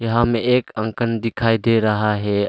यहां में एक अंकन दिखाई दे रहा है अ--